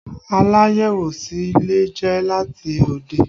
Aláyẹ̀wò sì lè jẹ́ láti òde